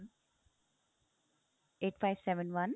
eight five seven one